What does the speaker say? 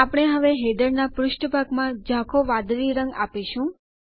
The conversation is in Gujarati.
આપણે હવે હેડરનાં પુષ્ઠભાગમાં ઝાંખો વાદળી રંગ આપીશું